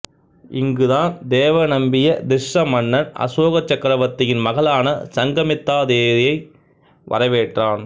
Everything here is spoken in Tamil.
இங்குதான் தேவநம்பிய திஸ்ஸ மன்னன் அசோக சக்கரவர்த்தியின் மகளான சங்கமித்தா தேரியை வரவேற்றான்